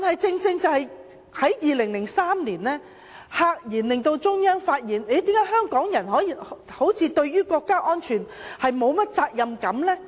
正正在2003年，中央赫然發現香港人對國家安全好像沒有責任感。